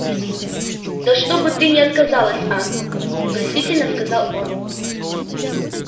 да что бы не отказалась а просительно сказал он